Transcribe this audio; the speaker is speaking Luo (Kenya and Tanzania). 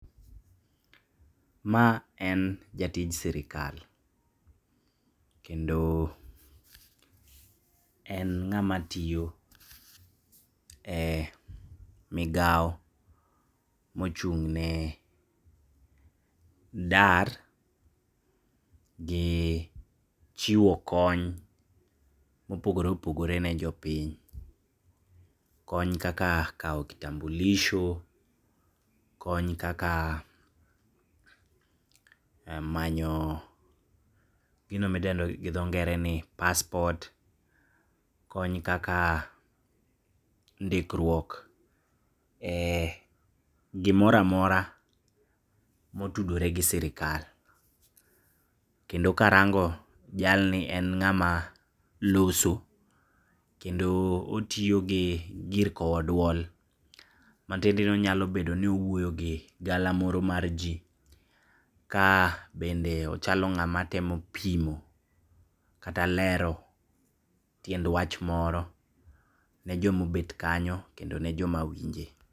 Ma en jatij sirikal, kendo en ng'ama tiyo e migao mochung'ne dar gi chiwo konyo mopogore opogore ne jopiny. Kony kaka kao kitambulisho, kony kaka manyo gino midendo gi dho ngere ni passport, kony kaka ndikruok e gimora amora motudore gi sirikal, kendo karango jalni en ng'ama loso kendo otiyogi gir kowo duol, matiendeni onyalo bedoni owuoyo gi gala moro mar jii, kabende ochalo ng'ama temo pimo kata lero tiend wach moro ne jo mobet kanyo, kendo ne joma winje.